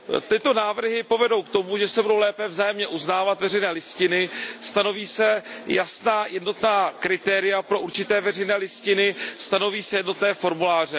Tyto návrhy povedou k tomu, že se budou lépe vzájemně uznávat veřejné listiny, stanoví se jasná jednotná kritéria pro určité veřejné listiny, stanoví se jednotné formuláře.